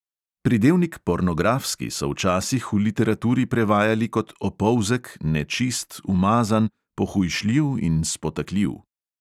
Pridevnik pornografski so včasih v literaturi prevajali kot opolzek, nečist, umazan, pohujšljiv in spotakljiv.